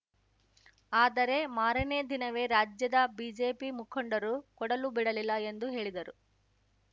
ಆದರೆ ಮಾರನೇ ದಿನವೇ ರಾಜ್ಯದ ಬಿಜೆಪಿ ಮುಖಂಡರು ಕೊಡಲು ಬಿಡಲಿಲ್ಲ ಎಂದು ಹೇಳಿದರು